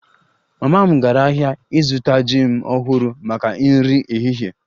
Mama m gara ahịa ịzụta jim ọhụrụ maka nri ehihie